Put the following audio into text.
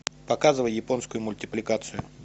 показывай японскую мультипликацию